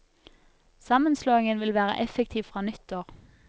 Sammenslåingen vil være effektiv fra nyttår.